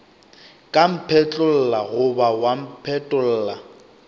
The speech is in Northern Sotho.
ka mphetlolla goba wa mpetolla